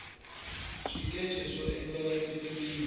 swikeche swo endlela tifilimi